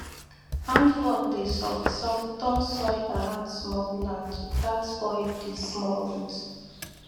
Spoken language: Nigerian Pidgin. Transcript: hand fork dey soft soft turn soil around small plant without spoil the small root